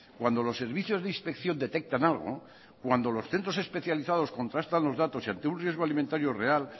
cuando los servicios de inspección detectan algo cuando los centros especializados contrastan los datos ante un riesgo alimentario real